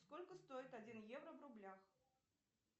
сколько стоит один евро в рублях